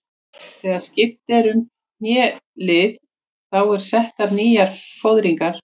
Þegar skipt er um hnélið þá eru settar nýjar fóðringar.